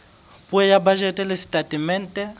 puo ya bajete le setatemente